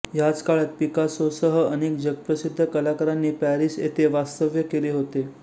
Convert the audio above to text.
ह्याच काळात पिकासोसह अनेक जगप्रसिद्ध कलाकारांनी पॅरिस येथे वास्तव्य केले होते